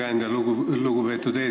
Aitäh, lugupeetud eesistuja!